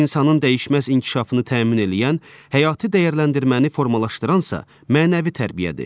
İnsanın dəyişməz inkişafını təmin eləyən, həyati dəyərləndirməni formalaşdıransa, mənəvi tərbiyədir.